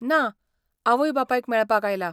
ना, आवय बापायक मेळपाक आयला.